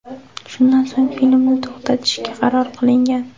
Shundan so‘ng filmni to‘xtatishga qaror qilingan.